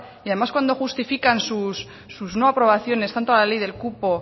y además cuando justifican sus no aprobaciones tanto a la ley del cupo